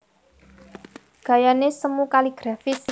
Gayané semu kaligrafis